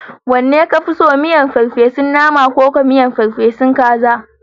Wanne ka fi so? Miyar ferfe su naman akuya ko ferfe su naman kaza?